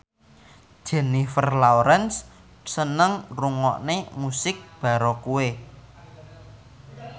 Jennifer Lawrence seneng ngrungokne musik baroque